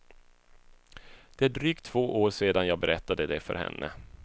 Det är drygt två år sedan jag berättade det för henne.